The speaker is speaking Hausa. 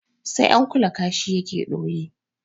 Sai an kula kashi yake ɗoyi